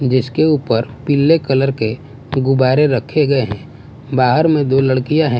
जिसके ऊपर पीले कलर के गुब्बारे रखे गए हैं बाहर में दो लड़कियां है।